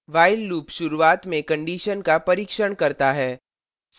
while loop शुरूवात में condition का परीक्षण करता है